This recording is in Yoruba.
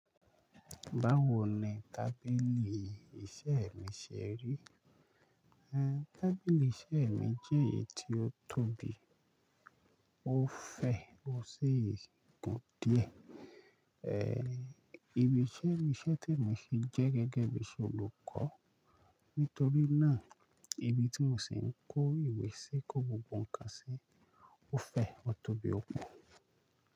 Báwo ni tábìlì iṣẹ́ mi ṣe rí? TáBìlì iṣẹ́ mi jẹ́ èyí tí ó tóbi, ó fẹ̀, ó sì gùn díẹ̀. Ibí iṣẹ́ ni iṣẹ́ tí mo ṣe jẹ́ gẹ́gẹ́ bí olùkọ́. Nítorí náà, ibi tí mo ṣì ń kó ìwé sí, kó gbogbo ǹkan sí, ó fẹ̀, ó tóbi, ó gùn.